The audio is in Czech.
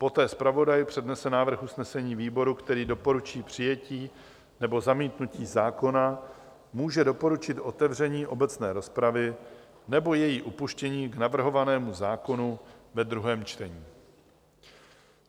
Poté zpravodaj přednese návrh usnesení výboru, který doporučí přijetí nebo zamítnutí zákona, může doporučit otevření obecné rozpravy nebo její upuštění k navrhovanému zákonu ve druhém čtení.